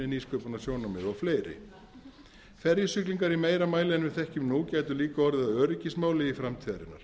og fleiri ferjusiglingar í meira mæli en við þekkjum nú gætu líka orðið að öryggismáli framtíðarinnar